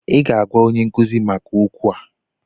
ị ga agwa onye nkuzi maka okwu a?